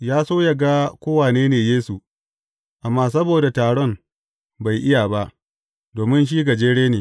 Ya so yă ga ko wane ne Yesu, amma saboda taron, bai iya ba, domin shi gajere ne.